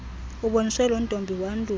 uboniswe lontombi wandule